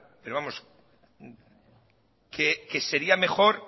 pero vamos que sería mejor